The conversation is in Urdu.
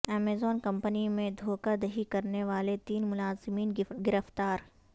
امیزان کمپنی میں دھوکہ دہی کرنے والے تین ملازمین گرفتار